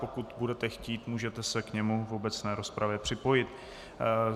Pokud budete chtít, můžete s k němu v obecné rozpravě připojit.